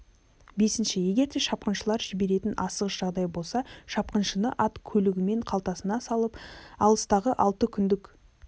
бесінші егер де шапқыншылар жіберетін асығыс жағдай болса шапқыншыны ат көлігімен қалтасына салып алыстағы алты күндік